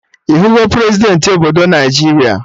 Ịhụgọ Prezidentị obodo Naijiria?